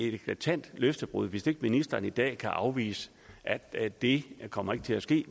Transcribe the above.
et eklatant løftebrud hvis ikke ministeren i dag kan afvise at det kommer til at ske